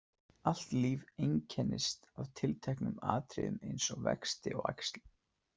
Allt líf einkennist af tilteknum atriðum eins og vexti og æxlun.